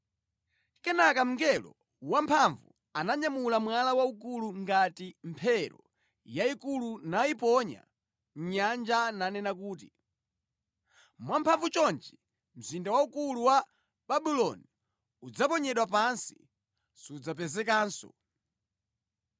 Kenaka mngelo wamphamvu ananyamula mwala waukulu ngati mphero yayikulu nawuponya mʼnyanja nanena kuti, “Mwa mphamvu chonchi mzinda waukulu wa Babuloni udzaponyedwa pansi, sudzapezekanso.